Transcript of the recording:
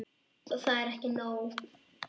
Og það er ekki nóg.